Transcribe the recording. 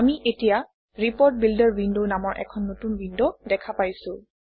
আমি এতিয়া report builder window নামৰ এখন নতুন উইণ্ড দেখা পাইছোঁ